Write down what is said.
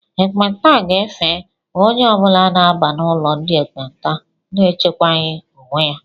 Ekpenta ga-efe onye ọbula na-aba n'ụlọ ndị ekpenta na-echekwaghi onwe ya